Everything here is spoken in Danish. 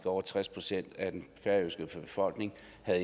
over tres procent af den færøske befolkning